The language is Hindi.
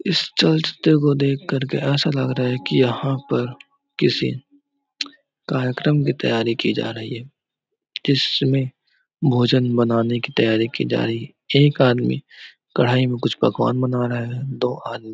इस चर्च तो को देख करके ऐसा लग रहा की यहाँ पर किसी कार्यक्रम की तैयारी की जा रही है जिसमे भोजन बनाने की तैयारी की जा रही है एक आदमी कढ़ाई मे कुछ पकवान बना रहा है और दो आदमी--